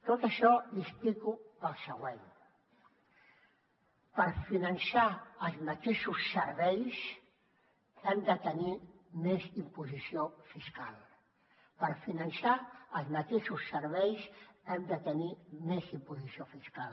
tot això l’hi explico pel següent per finançar els mateixos serveis hem de tenir més imposició fiscal per finançar els mateixos serveis hem de tenir més imposició fiscal